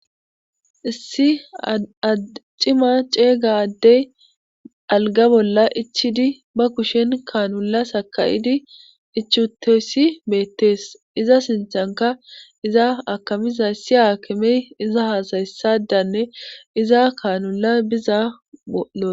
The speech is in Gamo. Issi acima ceeyga addey algga bolla ichidi ba kushen kaanula sakayidi ichuteyssi beettees iza sinchanka iza akamiza issi aakamey iza haasayessadanne iza kaanula biza bollo.